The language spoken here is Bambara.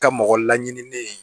Ka mɔgɔ laɲini